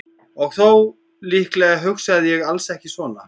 Og þó, líklega hugsaði ég alls ekki svona.